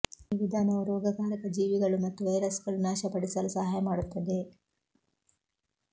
ಈ ವಿಧಾನವು ರೋಗಕಾರಕ ಜೀವಿಗಳು ಮತ್ತು ವೈರಸ್ಗಳು ನಾಶಪಡಿಸಲು ಸಹಾಯ ಮಾಡುತ್ತದೆ